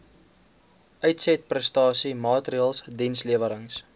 uitsetprestasie maatreëls dienslewerings